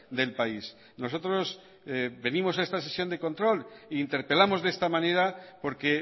del país nosotros venimos a esta sesión de control e interpelamos de esta manera porque